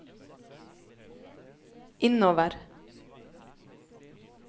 innover